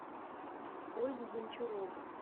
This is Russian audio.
ольгу гончарову